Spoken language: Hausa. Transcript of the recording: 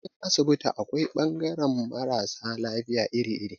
A cikin asibiti akwai bangaran mara sa lafiya iri-iri.